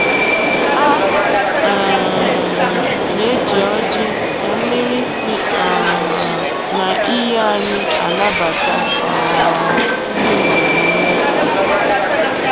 A um na-eji ọjị na mmiri si um na iyi anyị anabata um ndị njem nleta